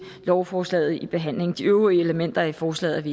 lovforslaget i behandlingen de øvrige elementer i forslaget